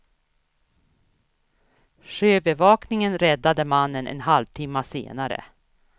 Sjöbevakningen räddade mannen en halvtimme senare.